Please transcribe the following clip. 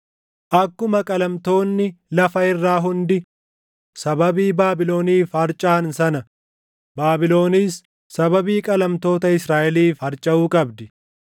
“Akkuma qalamtoonni lafa irraa hundi sababii Baabiloniif harcaʼan sana Baabilonis sababii qalamtoota Israaʼeliif harcaʼuu qabdi.